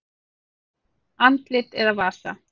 Andlit eða vasa?